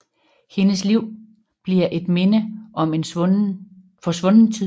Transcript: Hendes liv bliver et minde om en forsvunden tid